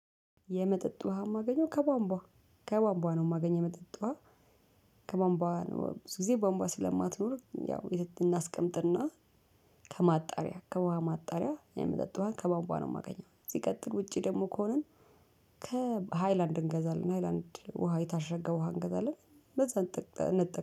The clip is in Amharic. የመጠጥ ውሃ የማገኘው ከቧንቧ ከቧንቧ ነው የማገኘው የመጠጥ ውሃ። ከቧንቧ ነው ብዙ ጊዜ ቧንቧ ስለማትኖር ያው እናስቀምጥና ከማጣሪያ ከባንቧ ማጣሪያ የምጠጣዋን ከባንቧ ነው የማገኘው። ሲቀጥል ውጪ ደግሞ ከሆንን ከሃይላንድ እንገዛለን ሃይላንድ ውሃ የታሸገ ውሃ እንገዳለን። በዛ እንጠቅ